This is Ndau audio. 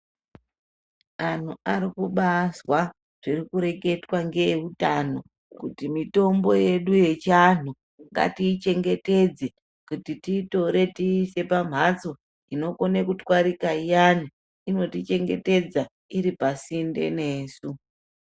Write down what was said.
Anhu ari kubaazwa zviri kureketwa ngeeutano kuti mutombo yedu yechianhu ngatiichengetedze kuti tiitore tiise pamhatso inokone kutwarika iyani inotichengetedza iri pasinde nesu.